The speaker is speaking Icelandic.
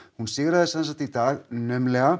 hún sigraði sem sagt í dag naumlega